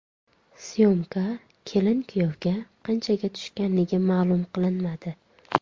Syomka kelin-kuyovga qanchaga tushganligi ma’lum qilinmadi.